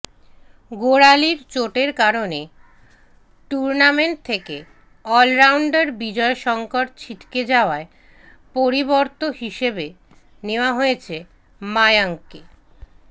গোড়ালির চোটের কারণে টুর্নামেন্ট থেকে অলরাউন্ডার বিজয় শঙ্কর ছিটকে যাওয়ায় পরিবর্ত হিসেবে নেওয়া হয়েছে মায়াঙ্ককে